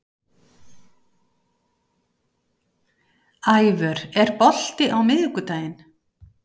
Ævör, er bolti á miðvikudaginn?